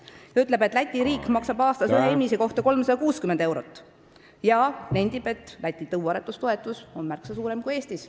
Ta ütles, et Läti riik maksab aastas ühe inimese kohta 360 eurot, ja nentis, et Lätis on tõuaretustoetus märksa suurem kui Eestis.